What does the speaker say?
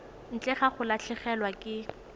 ntle ga go latlhegelwa ke